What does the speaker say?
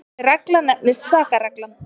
þessi regla nefnist sakarreglan